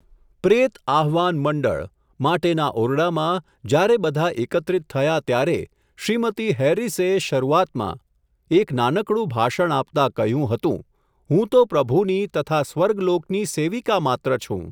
પ્રેત આહ્વાન મંડળ, માટેના ઓરડામાં, જ્યારે બધા એકત્રિત થયા ત્યારે, શ્રીમતી હેરીસે શરુઆતમાં એક નાનકડું ભાષણ આપતા કહ્યું હતું, હું તો પ્રભુની તથા સ્વર્ગલોકની સેવિકા માત્ર છું.